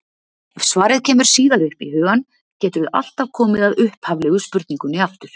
Ef svarið kemur síðar upp í hugann geturðu alltaf komið að upphaflegu spurningunni aftur.